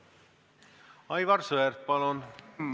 Aivar Sõerd, palun!